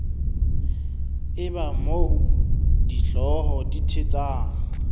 eba moo dihlooho di thetsang